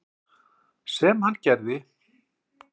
Sem hann gerði.